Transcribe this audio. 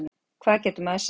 Hvað getur maður sagt